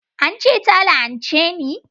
An ce ta la'anche ni